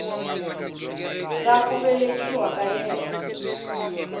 ra ku velekiwa ka yena